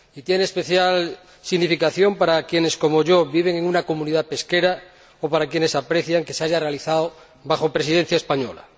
Y tiene especial significación para quienes, como yo, viven en una comunidad pesquera o para quienes aprecian que se haya realizado bajo Presidencia española.